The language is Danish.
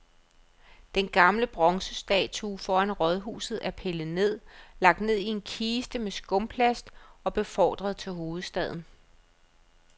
Den gamle bronzestatue foran rådhuset er pillet ned, lagt i en kiste med skumplast og befordret til hovedstaden.